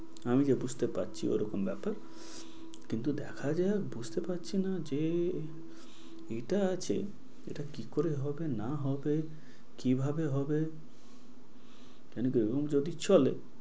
আমি যা বুঝতে পারছি ওরকম ব্যাপার। কিন্তু দেখা যাক বুঝতে পারছি না যে এটা আছে, এটা কি করে হবে না হবে কিভাবে হবে? কেন কি এরকম রকম যদি চলে,